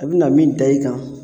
A bɛ na min da i kan